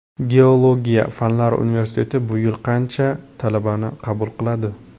Geologiya fanlari universiteti bu yil qancha talabani qabul qiladi?